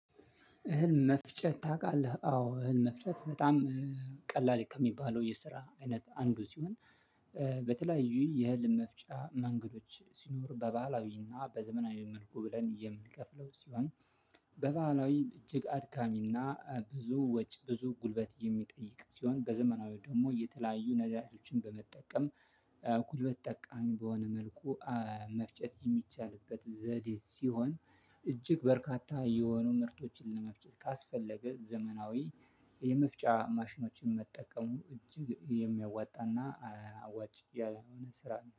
እህል መፍጨት ታውቃለህ አዎ እህል መፍጨት በጣም ቀላል ከሚባለው የስራ አይነት አንዱ ሲሆን። በተለያዩ የህል መፍጫ መንገዶች ሲኖር በባህላዊና በዘመናዊ መልኩ ብለን የምንከፍለው ሲሆን። በባህላዊ እጅግ አድካሚ እና ብዙ ወጭ ብዙ ጉልበት የሚጠይቅ ሲሆን በዘመናዊው ደግሞ የተለያዩ ነዳጆችን በመጠቀም ጉልበት ተጠቃሚ በሆነ መልኩ መፍጨት የሚቻልበት ዘዴ ሲሆን። እጅግ በርካታ የሆኑ ምርቶችን ለመፍጨት ካስፈለገ ዘመናዊ የመፍጫ ማሽኖችን መጠቀሙ እጅግ የሚያዋጣና አዋጪ የሆነ ስራ